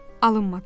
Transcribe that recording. Alınmadı.